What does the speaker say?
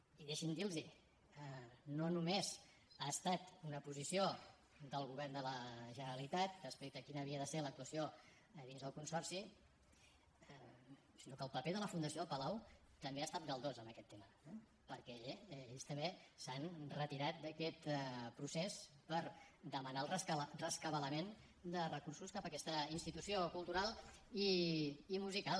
i deixin me dir los no només ha estat una posició del govern de la generalitat respecte a quina havia de ser l’actuació a dins del consorci sinó que el paper de la fundació del palau també ha estat galdós en aquest tema eh perquè ells també s’han retirat d’aquest procés per demanar el rescabalament de recursos cap a aquesta institució cultural i musical